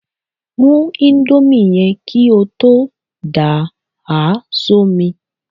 Rún íńdómì yẹn kí o tó dà á sómi!